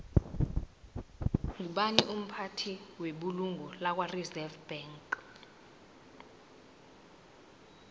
ngubani umphathi webulungo lakwareserve bank